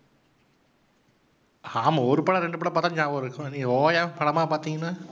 ஆமாம். ஒரு படம் ரெண்டு படம் பார்த்தா ஞாபகம் இருக்கும் நீங்க ஓயாம படமா பாத்தீங்கன்னா